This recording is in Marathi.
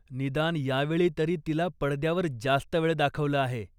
निदान यावेळी तरी तिला पडद्यावर जास्त वेळ दाखवलं आहे.